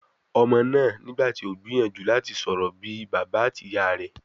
Ọmọ náà nígbà tí o gbìyànjú láti sọ̀rọ̀ bí I bàbá àti ìyá rẹ̀.